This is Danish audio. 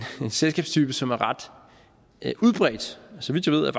selskabstype som er ret udbredt så vidt jeg ved er